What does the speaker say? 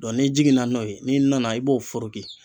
Dɔn n'i jiginna n'o ye n'i nana i b'o foroki